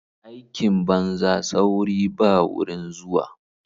Aikin banza sauri ba wurin zuwa.